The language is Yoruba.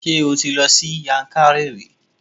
Ṣé o ti lọ sí Yankari sí?